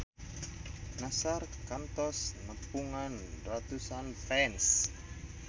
Nassar kantos nepungan ratusan fans